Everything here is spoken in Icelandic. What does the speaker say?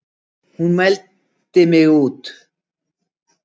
Hún mældi mig út.